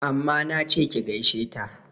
Amma nache ki gaishe ta!